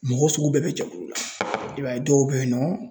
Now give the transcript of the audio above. Mɔgɔ sugu bɛɛ bɛ jɛkulu la. I b'a ye dɔw bɛ yen nɔ ,